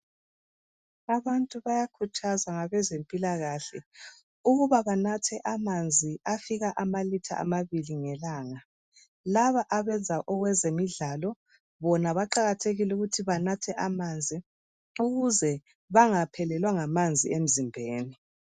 Abantu bayakhuthazwa ngabezempilakahle ukuba banathe amanzi afika amalitha amabili ngelanga. Laba abenza okwezemidlalo bona kuqakathekile ukuthi banathe amanzi ukuze bangaphelelwa ngamanzi emzimbeni.